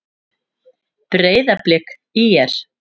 Breiðablik- ÍR